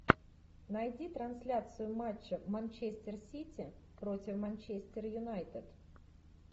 найти трансляцию матча манчестер сити против манчестер юнайтед